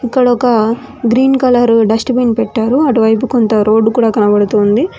ఇక్కడొక green colour dust bin పెట్టారు అటువైపు కొంత రోడ్డు కూడా కనబడుతూ ఉంది.